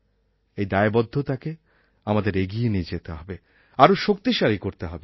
এই দায়বদ্ধতাকে আমাদের এগিয়ে নিয়ে যেতে হবে আরও শক্তিশালী করতে হবে